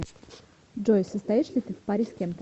джой состоишь ли ты в паре с кем то